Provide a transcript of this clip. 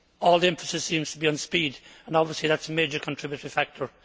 All the emphasis seems to be on speed, and obviously that is a major contributory factor.